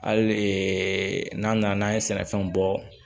Hali n'a nana n'a ye sɛnɛfɛnw bɔ